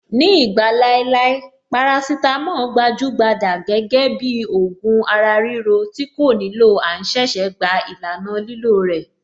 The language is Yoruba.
Ní ìgbà láéláé, parasítámọ̀ gbajúgbajà gẹ́gẹ́ bíi ògùn ara-ríro tí kò nílò à ń ṣẹ̀ṣẹ̀ gba ìlànà lílò rẹ̀.